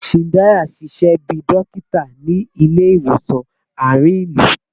Chindaya n ṣiṣẹ bi dokita ni ile-iwosan aarin ilu